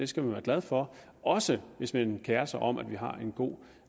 skal være glad for også hvis man kerer sig om at vi har en god